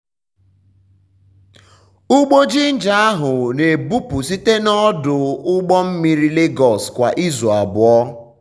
ugbo jinja ahụ na-ebupụ site n'ọdụ ụgbọ mmiri lagos kwa izu abụọ.